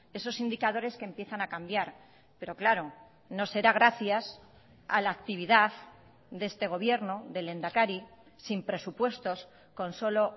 esos indicadores que empiezan a cambiar pero claro no será gracias a la actividad de este gobierno del lehendakari sin presupuestos con solo